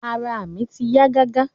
Àrà mi ti yà gàgà.